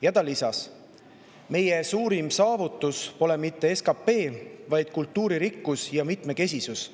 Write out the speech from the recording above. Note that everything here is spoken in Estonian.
" Ja ta lisas: "Meie suurim saavutus pole mitte SKP, vaid kultuuririkkus ja mitmekesisus,